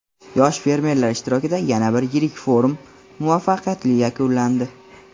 Yosh fermerlar ishtirokida yana bir yirik forum muvaffaqiyatli yakunlandi!.